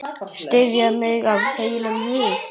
Styðja mig af heilum hug?